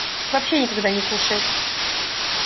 вообще никогда не кушает